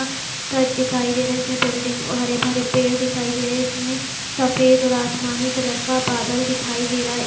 Shirt दिखाई दे रहे है इसमें बिल्डिंग और हरे-भरे पेड़ दिखाई दे रहे है इसमें सफ़ेद और आसमानी कलर का बादल दिखाई दे रहा है।